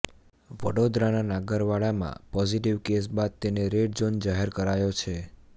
વડોદરાના નાગરવાડામાં positive case બાદ તેને રેડ ઝોન જાહેર કરાયો છે